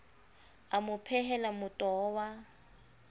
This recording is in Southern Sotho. a mo phehela motoho wa